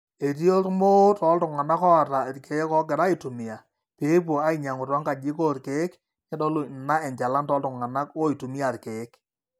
etii ormoo tooltung'anak ooata irkeek oogira aaitumia pee epuo ainyang'u toonkajijik oorkeek neitodolu ina enjalan tooltung'anak oitumia irkeek